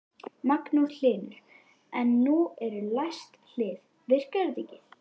Magnús Hlynur: En nú eru læst hlið, virkar þetta ekki?